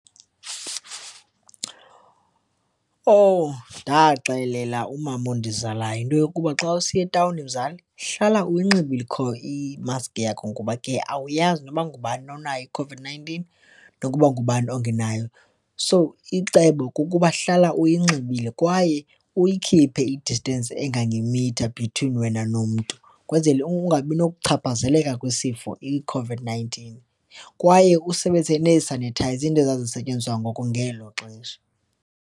Oh, ndaxelela umama ondizalayo yinto yokuba xa usiya etawuni mzali hlala unxibe i-mask yakho ngoba ke awuyazi noba ngubani onayo iCOVID-nineteen nokuba ngubani ongenayo, so icebo kukuba hlala uyinxibile kwaye uyikhiphe i-distance engangemitha between wena nomntu kwenzele ungabi nokuchaphazeleka kwesifo iCOVID-nineteen. Kwaye usebenzise nee-sanitizer into ezazisentyenziswa ngoko ngelo xesha.